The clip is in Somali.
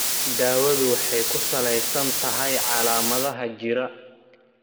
Daawadu waxay ku salaysan tahay calaamadaha jira.